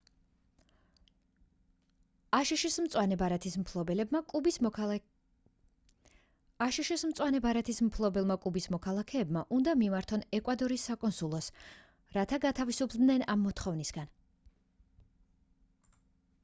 აშშ-ის მწვანე ბარათის მფლობელმა კუბის მოქალაქეებმა უნდა მიმართონ ეკვადორის საკონსულოს რათა გათავისუფლდნენ ამ მოთხოვნისგან